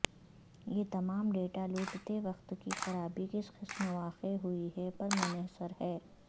یہ تمام ڈیٹا لوٹتے وقت کی خرابی کس قسم واقع ہوئی ہے پر منحصر ہے